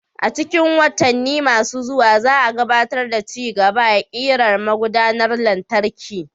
A cikin watanni masu zuwa, za a gabatar da ci gaba a ƙirar magudanar lantarki.